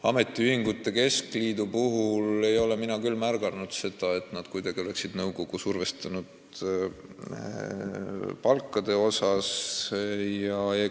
Ametiühingute keskliidu puhul ei ole mina küll märganud seda, et nad oleksid nõukogu kuidagi palkade mõttes survestanud.